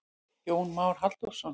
Jón Már Halldórsson.